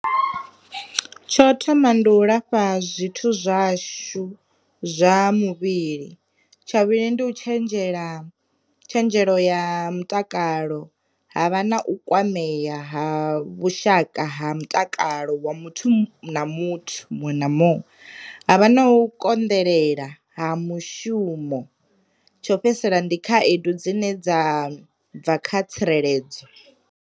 Tsho thoma ndi u lafha zwithu zwashu zwa muvhili, tsha vhuvhili ndi u tshenzhela tshenzhelo ya mutakalo ha vha na u kwamea ha vhushaka ha mutakalo wa muthu muthu muṅwe na muṅwe, a vha na u konḓelela ha mushumo, tsho fhedzisela ndi khaedu dzine dza bva kha tsireledzo.